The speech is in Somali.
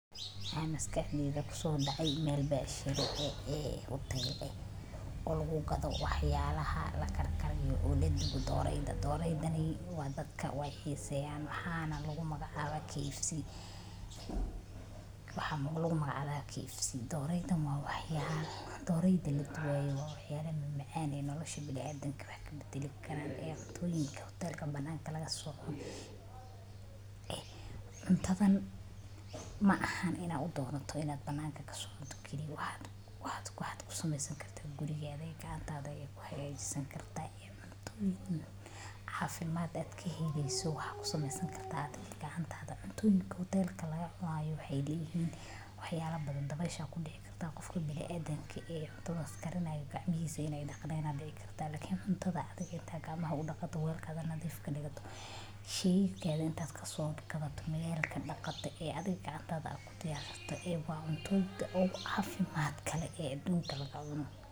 Maxa maskaxdeyda kuso dacay meel becsharo ah oo waxyalaha la karkariyo lagu gado sidha dooreyda. Meesha doorada lagu gado waa suuq, maqaaxi, ama goob cunto karis oo si gaar ah u iibisa hilibka doorada, dooro la shiilay, la dubay ama xitaa la kariyey. Meelo badan oo magaalooyinka ah waxaa laga helaa maqaaxiyo khaas ah oo ku takhasustay iibinta doorada, iyadoo lagu sameeyo cuntooyin kala duwan.